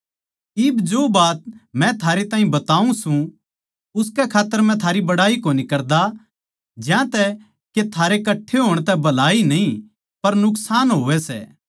इब जो बात मै थारे ताहीं बताऊँ सूं उसकै खात्तर मै थारी बड़ाई कोनी करदा ज्यांतै के थारे कट्ठे होण तै भलाई न्ही पर नुकसान होवै सै